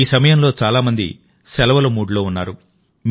ఈ సమయంలో చాలా మంది సెలవుల మూడ్లో ఉన్నారు